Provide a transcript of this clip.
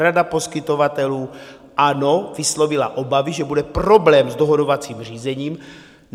Rada poskytovatelů, ano, vyslovila obavy, že bude problém s dohodovacím řízením.